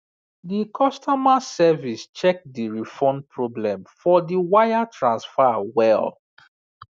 the customer service check the refund problem for the wire transfer well